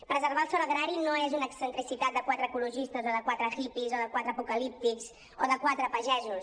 preservar el sòl agrari no és una excentricitat de quatre ecologistes o de quatre hippies o de quatre apocalíptics o de quatre pagesos